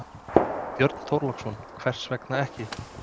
Björn Þorláksson: Hvers vegna ekki?